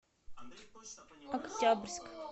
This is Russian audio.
октябрьск